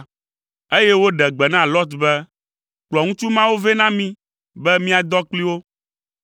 eye woɖe gbe na Lot be, “Kplɔ ŋutsu mawo vɛ na mí be míadɔ kpli wo.”